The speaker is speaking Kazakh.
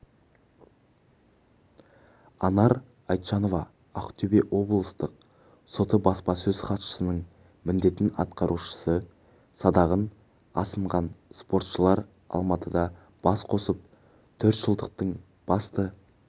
анар айтжанова ақтөбе облыстық соты баспасөз-хатшысының міндетін атқарушы садағын асынған спортшылар алматыда бас қосып төртжылдықтың басты